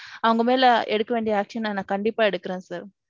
அவங்க மேல எடுக்க வேண்டிய action நான் கண்டிப்பா எடுக்குறேன் sir.